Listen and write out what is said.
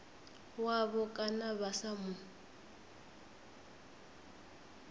wavho kana vha sa mu